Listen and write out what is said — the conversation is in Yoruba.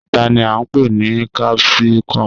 Ata ni a npe ni capsicum